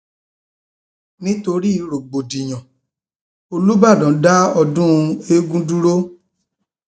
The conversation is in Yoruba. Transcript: nítorí rògbòdìyàn um olùbdan dá ọdún eegun dúró